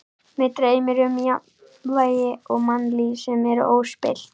Mig dreymir um jafnvægi og mannlíf sem er óspillt.